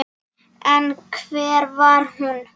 En hver var hún?